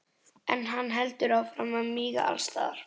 En hann heldur áfram að míga allsstaðar.